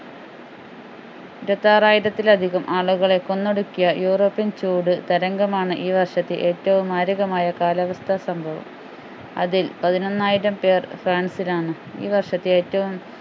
ഇരുപത്തിയാറായിരത്തിലധികം ആളുകളെ കൊന്നൊടുക്കിയ european ചൂട് തരംഗമാണ് ഈ വർഷത്തെ ഏറ്റവും മാരകമായ കാലാവസ്ഥ സംഭവം അതിൽ പതിനൊന്നായിരം പേർ ഫ്രാൻസിലാണ് ഈ വർഷത്തെ ഏറ്റവും